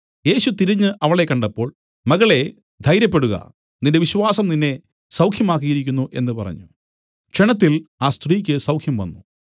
യേശു തിരിഞ്ഞു അവളെ കണ്ടപ്പോൾ മകളെ ധൈര്യപ്പെടുക നിന്റെ വിശ്വാസം നിന്നെ സൗഖ്യമാക്കിയിരിക്കുന്നു എന്നു പറഞ്ഞു ക്ഷണത്തിൽ ആ സ്ത്രീക്ക് സൌഖ്യംവന്നു